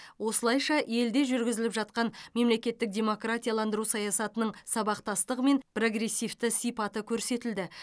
осылайша елде жүргізіліп жатқан мемлекеттік демократияландыру саясатының сабақтастығы мен прогрессивті сипаты көрсетілді